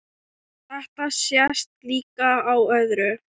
Þetta sést líka á öðru.